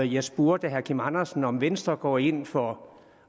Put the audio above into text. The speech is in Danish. jeg spurgte herre kim andersen om venstre går ind for